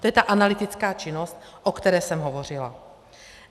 To je ta analytická činnost, o které jsem hovořila.